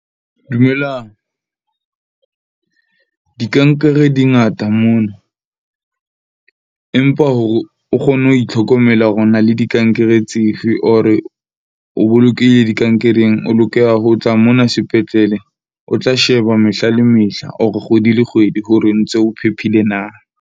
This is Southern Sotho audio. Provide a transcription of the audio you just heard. Dumelang , dikankere di ngata mono, empa hore o kgone ho itlhokomela hore o na le dikankere tse fe or o bolokehile dikankereng. O lokela ho tla mona sepetlele. O tla sheba mehla le mehla or kgwedi le kgwedi, hore ntse o phephile na.